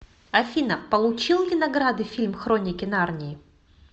афина получил ли награды фильм хроники нарнии